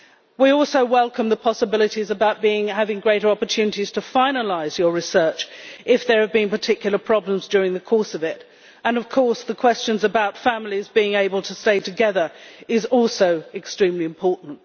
We also welcome the possibilities of having greater opportunities to finalise your research if there have been particular problems during the course of it, and of course the questions about families being able to stay together is also extremely important.